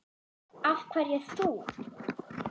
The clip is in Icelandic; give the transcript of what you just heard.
Af hverju þú?